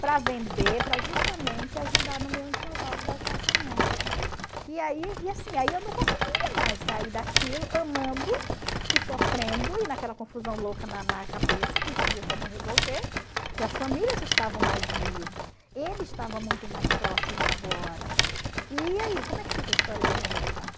para vender para justamente ajudar no meu enxoval para o casamento e aí e assim aí eu não conseguia mais sair daquilo amando e sofrendo e naquela confusão louca na na cabeça que não sabia como resolver porque as famílias estavam mais unidas ele estava muito mais próximo agora e aí como é que fica a história dele não gostar?